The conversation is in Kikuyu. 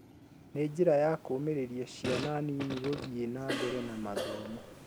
Nĩ njĩra ya kũmĩrĩria ciana nini gũthiĩ nambere na mathomo